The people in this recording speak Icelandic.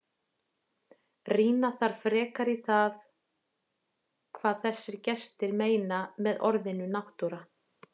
Rýna þarf frekar í það hvað þessir gestir meina með orðinu náttúra.